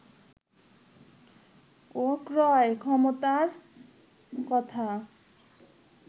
ও ক্রয় ক্ষমতার কথা